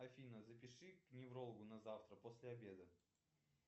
афина запиши к неврологу на завтра после обеда